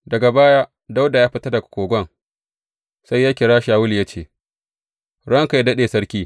Daga baya Dawuda ya fita daga kogon sai ya kira Shawulu ya ce, Ranka yă daɗe, sarki!